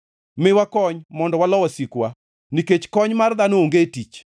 Miwa kony mondo walo wasikwa, nikech kony mar dhano onge tich.